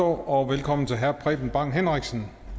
og velkommen til herre preben bang henriksen